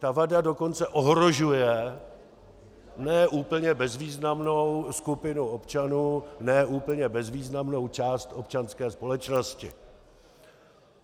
Ta vada dokonce ohrožuje ne úplně bezvýznamnou skupinu občanů, ne úplně bezvýznamnou část občanské společnosti.